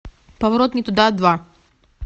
поворот не туда два